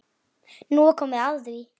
Nú er komið að því.